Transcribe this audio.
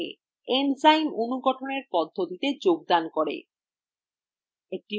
enzyme অনুঘটনএর পদ্ধতিতে যোগদান করে